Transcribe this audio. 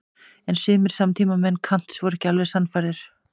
En sumir samtímamenn Kants voru ekki alveg sannfærðir.